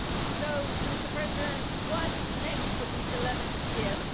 So, Mr President, what next for the 11th EDF?